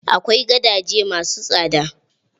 Akwai gadaje ma su tsada.